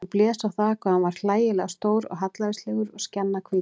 Hann blés á það hvað hann var hlægilega stór og hallærislegur og skjannahvítur.